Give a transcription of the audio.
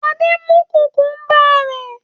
Adé mú kùkúḿbà rẹ̀.